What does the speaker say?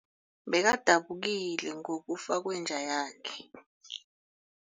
Bekadabukile ngokufa kwenja yakhe.